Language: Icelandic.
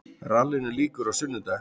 Rallinu lýkur á sunnudag